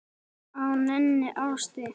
á neinni árstíð.